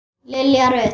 Lilja Rut.